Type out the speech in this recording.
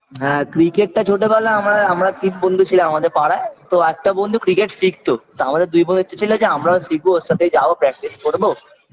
হ্যাঁ cricket -টা ছোটবেলা আমরা আমরা তিন বন্ধু ছিলাম আমাদের পাড়ায় তো একটা বন্ধু cricket শিখতো তা আমাদের দুই বোন ইচ্ছে ছিল যে আমরাও শিখব ওর সাথে যাব practice করব